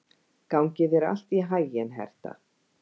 Gangi þér allt í haginn, Hertha.